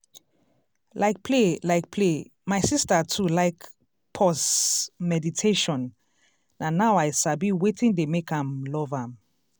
like play like play my sister too like pause meditation na now i sabi wetin dey make am love am.